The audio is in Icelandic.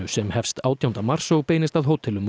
sem hefst átjánda mars og beinist að hótelum